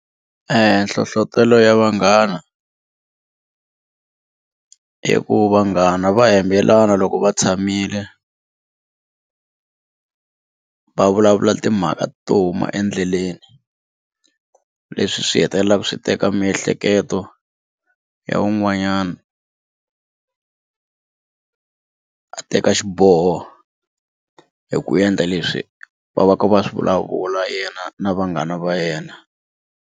Nhlohlotelo ya vanghana i ku vanghana va hembelana loko va tshamile va vulavula timhaka to huma endleleni leswi swi hetelelaka swi teka miehleketo ya un'wanyana a teka xiboho hi ku endla leswi va va ka va swi vulavula yena na vanghana va yena.